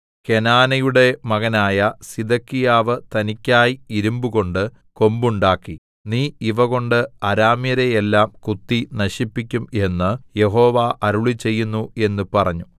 കെനാനയുടെ മകനായ സിദെക്കീയാവ് തനിക്കായി ഇരിമ്പുകൊണ്ട് കൊമ്പുണ്ടാക്കി നീ ഇവകൊണ്ട് അരാമ്യരെ എല്ലാം കുത്തി നശിപ്പിക്കും എന്ന് യഹോവ അരുളിച്ചെയ്യുന്നു എന്ന് പറഞ്ഞു